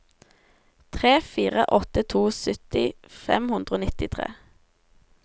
tre fire åtte to sytti fem hundre og nittitre